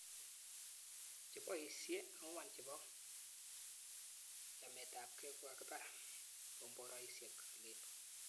Che boisiei angwan chebo chametabgei kokibar komboraisiek Aleppo